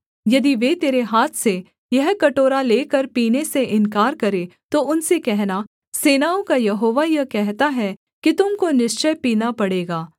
यदि वे तेरे हाथ से यह कटोरा लेकर पीने से इन्कार करें तो उनसे कहना सेनाओं का यहोवा यह कहता है कि तुम को निश्चय पीना पड़ेगा